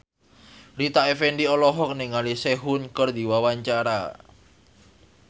Rita Effendy olohok ningali Sehun keur diwawancara